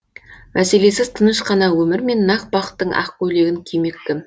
мәселесіз тыныш қана өмірмен нақ бақыттың ақ көйлегін кимек кім